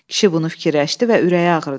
Kişi bunu fikirləşdi və ürəyi ağrıdı.